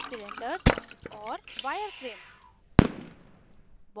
cylinders cylinders और * wireframe wireframe